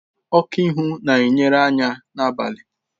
Oku ihu na-enyere anya n'abalị.